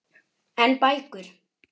En bækur?